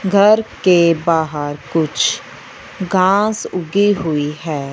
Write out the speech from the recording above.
घर के बाहर कुछ घास उगी हुई है।